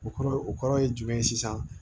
O kɔrɔ o kɔrɔ ye jumɛn ye sisan